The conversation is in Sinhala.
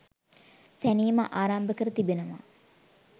තැනීම ආරම්භ කර තිබෙනවා.